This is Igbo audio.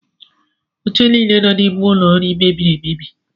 Oche niile nọ n’ime ụlọ nri mebiri emebi